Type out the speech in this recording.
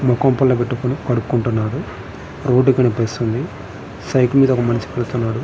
ముఖం పుల్ల పెట్టుకొని కడుక్కుంటున్నాడు రోడ్ కనబడుతుంది సైకిల్ మీద ఒక మనిషి వెళ్తున్నాడు.